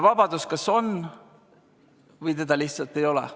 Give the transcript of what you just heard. Vabadus kas on või seda lihtsalt ei ole.